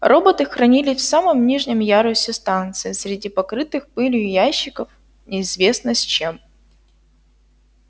роботы хранились в самом нижнем ярусе станции среди покрытых пылью ящиков неизвестно с чем